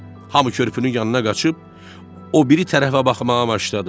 Hamı körpünün yanına qaçıb o biri tərəfə baxmağa başladı.